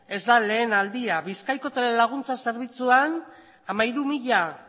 ez da lehen aldia bizkaiko telelaguntza zerbitzuan hamairu mila